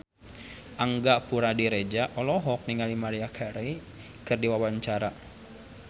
Angga Puradiredja olohok ningali Maria Carey keur diwawancara